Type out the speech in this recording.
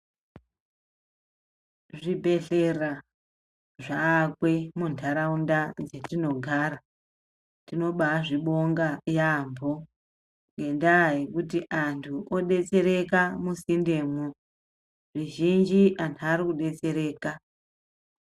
Zvibhedhlera zvakwe muntaraunda dzetinogara tinobazvibonga yambo ngendaa yekuti antu odetsereka musindemwo, zvizhinji anhu arikudetsereka.